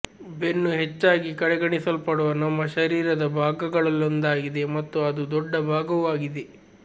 ಬೆನ್ನು ಹೆಚ್ಚಾಗಿ ಕಡೆಗಣಿಸಲ್ಪಡುವ ನಮ್ಮ ಶರೀರದ ಭಾಗಗಳಲ್ಲೊಂದಾಗಿದೆ ಮತ್ತು ಅದು ದೊಡ್ಡ ಭಾಗವೂ ಆಗಿದೆ